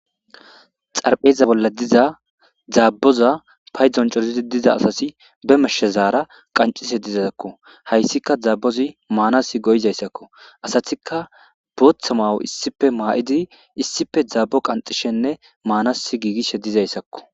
Tarphpheza bollan diza daabboza payduwan coridi diza asati ba mashshazara qonccise dizako. Hayssika daabbozi maanasi goyiza issako. Asatikka bootha mayo issippe maayidi issippe daabbo qanithshenne maanasi gigishedizako.